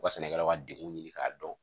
U ka sɛnɛkɛlaw ka degun ɲini k'a dɔn